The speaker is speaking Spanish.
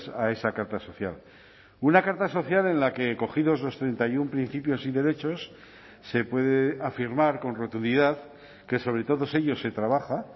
a esa carta social una carta social en la que cogidos los treinta y uno principios y derechos se puede afirmar con rotundidad que sobre todos ellos se trabaja